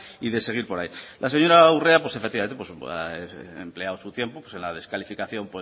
y de seguir por ahí la señora urrea pues efectivamente ha empleado su tiempo en la descalificación